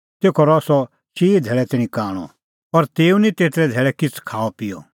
तेखअ रहअ सह चिई धैल़ै तैणीं कांणअ और तेऊ निं तेतरै धैल़ै किछ़ खाअपिअ